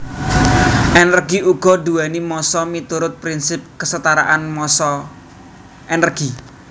Energi uga duwéni massa miturut prinsip kesetaraan massa energi